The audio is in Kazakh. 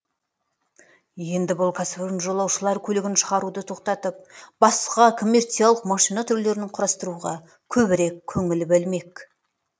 енді бұл кәсіпорын жолаушылар көлігін шығаруды тоқтатып басқа коммерциялық машина түрлерін құрастыруға көбірек көңіл бөлмек